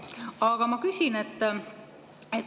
Aga ma küsin.